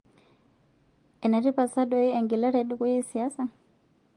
Enetipat saa doi egelare edukuya esiasa?